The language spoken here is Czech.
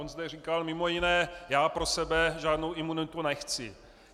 On zde říkal mimo jiné "já pro sebe žádnou imunitu nechci".